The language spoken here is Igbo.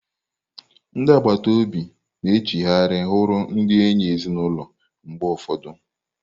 Ndị agbata obi na-echigharị wụrụ ndị enyi ezinụlọ mgbe ụfọdụ.